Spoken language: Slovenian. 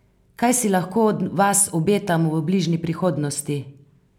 Kaj si lahko od vas obetamo v bližnji prihodnosti?